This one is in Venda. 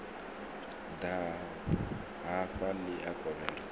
ḓa hafha ḽi a kovhela